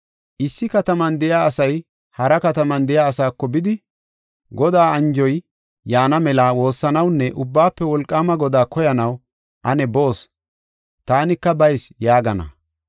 Issi kataman de7iya asay hara kataman de7iya asaako bidi, ‘Godaa anjoy yaana mela woossanawunne Ubbaafe Wolqaama Godaa koyanaw ane boos; taanika bayis’ yaagana.